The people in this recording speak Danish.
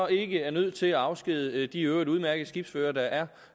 ikke er nødt til at afskedige de i øvrigt udmærkede skibsførere der er